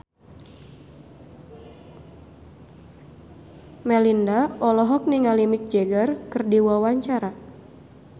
Melinda olohok ningali Mick Jagger keur diwawancara